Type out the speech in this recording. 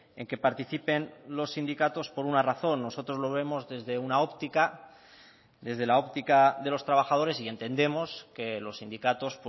en que participen los sindicatos por una razón nosotros lo vemos desde una óptica desde la óptica de los trabajadores y entendemos que los sindicatos